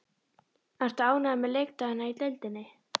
Ertu ánægður með leikdagana í deildinni?